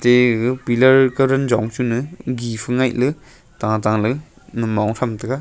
egaga pillar karan jong chu ne gif ngaih le tata le namong tham tega.